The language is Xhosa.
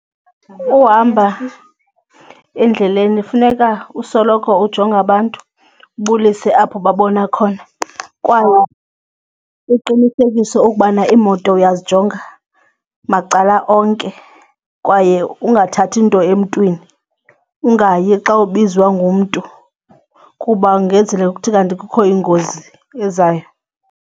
Uhamba endleleni funeka usoloko ujonga abantu ubulise apho ubabona khona kwaye uqinisekise ukubana iimoto uyazijonga macala onke kwaye ungathathi nto emntwini ungayi xa ubizwa ngumntu kuba kungenzeka kuthi kanti kukho ingozi ezayo.